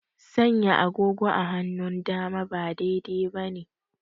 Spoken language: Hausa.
Sanya agogo a hannun dama ba daidai bane